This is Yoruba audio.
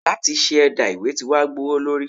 láti se ẹdà- ìwé tí wa gbówólorí.